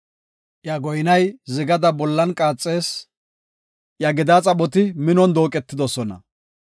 Iya goynay zigada bollan qaaxees; iya gedaa xaphoti minon dooqetidosona.